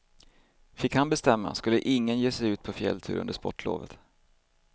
Fick han bestämma skulle ingen ge sig ut på fjälltur under sportlovet.